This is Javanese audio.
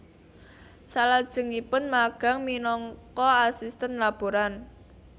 Salajengipun magang minangka asistèn laboran